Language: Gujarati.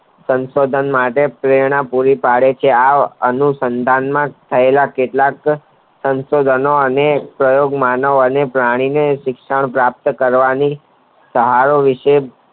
સંશોધન માટે પ્રેરણા પુરી પડે છે આ એનું સંધાનમાં થયેલા કેટલાક સંશોધનો અને પ્રયોગ માનવ અને પ્રાણીને શિક્ષણ પ્રાપ્ત કરવાનુંય સહારો રીતે